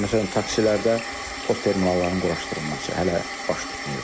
Məsələn, taksilərdə postterminalların quraşdırılması hələ baş tutmayıb.